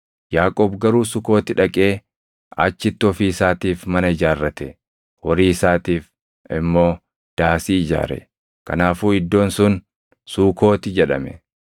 Yaaqoob garuu Sukooti dhaqee achitti ofii isaatiif mana ijaarrate; horii isaatiif immoo daasii ijaare. Kanaafuu iddoon sun Suukooti jedhame.